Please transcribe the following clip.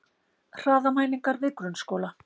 Hraðamælingar við grunnskóla